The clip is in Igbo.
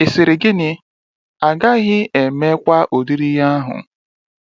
ịsịrị gịnị, agaghị eme kwa ụdịrị ihe ahụ!